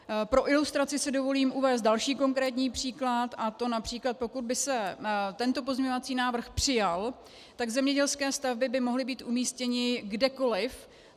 Pro ilustraci si dovolím uvést další konkrétní příklad, a to například pokud by se tento pozměňovací návrh přijal, tak zemědělské stavby by mohly být umístěny kdekoliv.